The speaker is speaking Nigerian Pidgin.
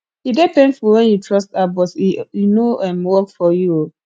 e dey painful wen you trust app but e no um work for you um